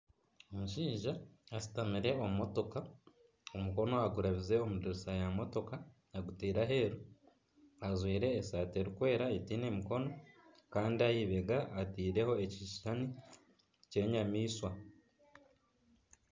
Omushaija ashutamire omu motoka omukono agurabize omu dirisa ya motoka aguteire aheru. Ajwire esati erikwera eteine mikono kandi aha ibega atiireho ekishushani ky'enyamaishwa.